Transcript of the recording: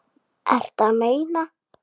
Ertu að meina.